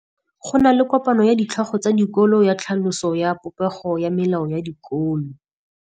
Go na le kopanô ya ditlhogo tsa dikolo ya tlhaloso ya popêgô ya melao ya dikolo.